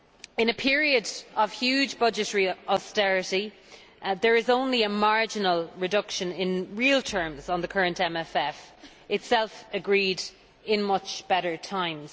In a period of huge budgetary austerity, there is only a marginal reduction in real terms on the current MFF itself agreed in much better times.